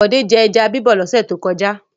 Bọ̀dé jẹ ẹja bíbọ̀ lọ́sẹ̀ tó kọjá?